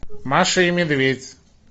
маша и медведь